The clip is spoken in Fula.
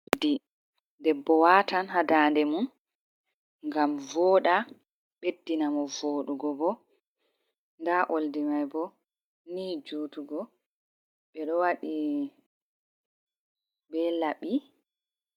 Oldi debbo watan ha dande mum ngam vooɗa, ɓeddina mo voɗugo bo, nda oldi mai bo ni jutugo, ɓe ɗo waɗi be laɓi.